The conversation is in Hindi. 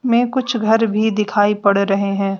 में कुछ घर भी दिखाई पड़ रहे हैं।